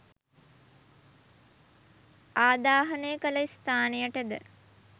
ආදාහනය කළ ස්ථානයටද